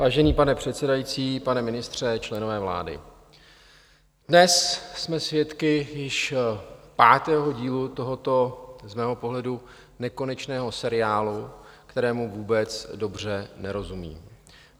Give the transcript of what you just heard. Vážený pane předsedající, pane ministře, členové vlády, dnes jsme svědky již pátého dílu tohoto z mého pohledu nekonečného seriálu, kterému vůbec dobře nerozumím.